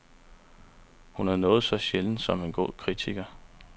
Hun er noget så sjældent som en god kritiker.